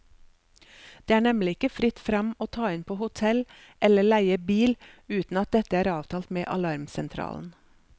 Det er nemlig ikke fritt frem å ta inn på hotell eller leie bil uten at dette er avtalt med alarmsentralen.